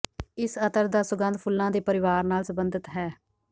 ਇਸ ਅਤਰ ਦਾ ਸੁਗੰਧ ਫੁੱਲਾਂ ਦੇ ਪਰਿਵਾਰ ਨਾਲ ਸਬੰਧਿਤ ਹੈ